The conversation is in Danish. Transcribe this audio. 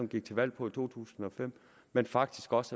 gik til valg på i to tusind og fem men faktisk også